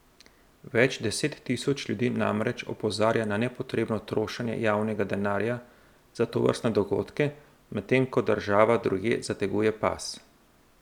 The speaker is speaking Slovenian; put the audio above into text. Več deset tisoč ljudi namreč opozarja na nepotrebno trošenje javnega denarja za tovrstne dogodke, medtem ko država drugje zateguje pas.